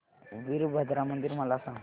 वीरभद्रा मंदिर मला सांग